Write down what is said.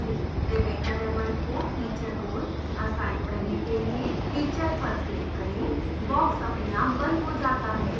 rebecca raymond को teacher role assign करने के लिए teacher पर click करें बॉक्स अपने आप बंद हो जाता है